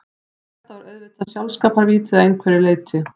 Þetta var auðvitað sjálfskaparvíti að einhverju leyti.